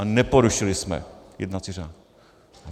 A neporušili jsme jednací řád.